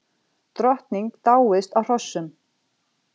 Drottning dáist að hrossum